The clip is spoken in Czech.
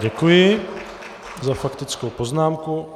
Děkuji za faktickou poznámku.